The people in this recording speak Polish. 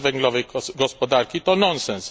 bezwęglowej gospodarki to nonsens.